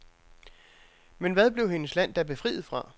Men hvad blev hendes land da befriet fra?